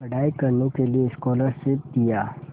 पढ़ाई करने के लिए स्कॉलरशिप दिया